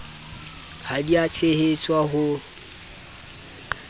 ha di a tshehetswa ho